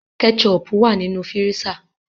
Kétchọpù wà nínu fíríṣà.